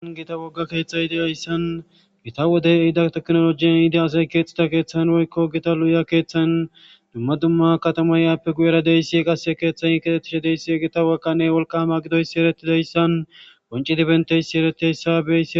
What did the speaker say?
Gita wogga keeththa yide ayssan gita wodey ehida teknolojiyan yide asay keexxita keeththan woykko gita lu7uya keeththan dumma dumma katama yaappe guyera deyssi qase keeththayin ketettishe deyssi gita wakanne wolka hama gidoysi eretidayssan qonci dibenteyssi ereteyssabe.